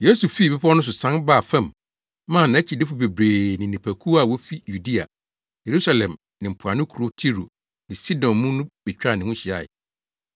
Yesu fii bepɔw no so sian baa fam maa nʼakyidifo bebree ne nnipakuw a wofi Yudea, Yerusalem ne mpoano nkurow Tiro ne Sidon mu no betwaa ne ho hyiae.